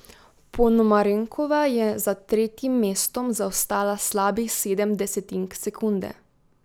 Ponomarenkova je za tretjim mestom zaostala slabih sedem desetink sekunde.